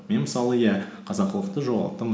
мен мысалы иә қазақылықты жоғалттым